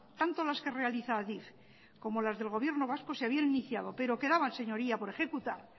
tanto las que realiza adif como las del gobierno vasco se habían iniciado pero quedaban señorías por ejecutar